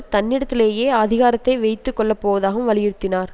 தன்னிடத்திலேயே அதிகாரத்தை வைத்து கொள்ள போவதாகவும் வலியுறுத்தியுனார்